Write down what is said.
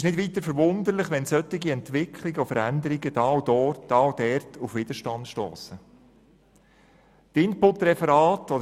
Wenn solche Entwicklungen und Veränderungen da und dort auf Widerstand stossen, verwundert das nicht weiter.